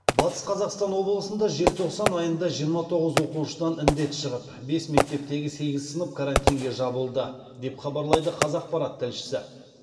батыс қазақстан облысында желтоқсан айында жиырма тоғыз оқушыдан індет шығып бес мектептегі сегіз сынып карантинге жабылды деп хабарлайды қазақпарат тілшісі